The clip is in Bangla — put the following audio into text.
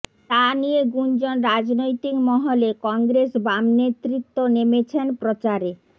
যা নিয়ে গুঞ্জন রাজনৈতিক মহলে কংগ্রেস বাম নেতৃত্ব নেমেছেন প্রচারে